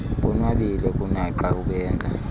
bonwabile kunaxa ubenza